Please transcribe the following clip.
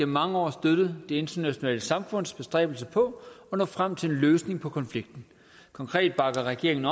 mange år støttet det internationale samfunds bestræbelser på at nå frem til en løsning på konflikten konkret bakker regeringen